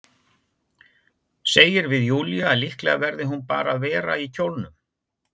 Segir við Júlíu að líklega verði hún bara að vera í kjólnum.